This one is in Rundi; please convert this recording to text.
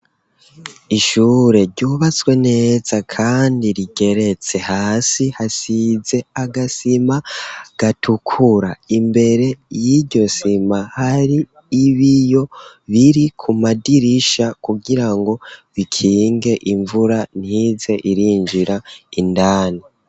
Ishure ryubatswe neza kandi rigeretse hasi hasize agasima gatukura imbere y'iryo sima hari ibiyo biri ku madirisha kugirango bikinge imvura ntize irinjira indani.